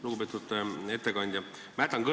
Lugupeetud ettekandja!